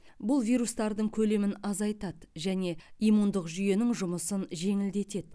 бұл вирустардың көлемін азайтады және иммундық жүйенің жұмысын жеңілдетеді